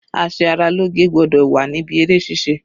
A ṣe ara lóge gbọ́dọ̀ wà níbí eré ṣíṣe.